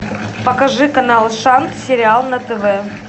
покажи канал шант сериал на тв